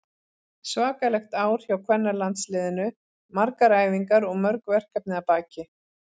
Svakalegt ár hjá kvennalandsliðinu, margar æfingar og mörg verkefni að baki.